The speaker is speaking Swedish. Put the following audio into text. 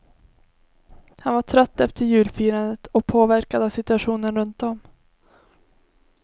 Han var trött efter julfirandet och påverkad av situationen runt om.